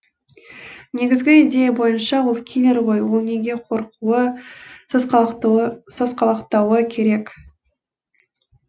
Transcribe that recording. негізгі идея бойынша ол киллер ғой ол неге қорқуы сасқалақтауы керек